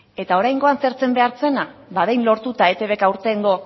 eta oraingoan zer zen behar zena ba behin lortuta eitbk aurtengo